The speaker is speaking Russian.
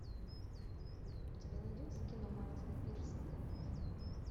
у тебя найдется кино мартина пирсена